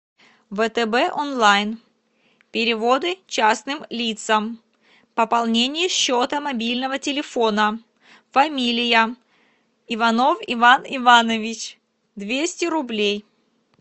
втб онлайн переводы частным лицам пополнение счета мобильного телефона фамилия иванов иван иванович двести рублей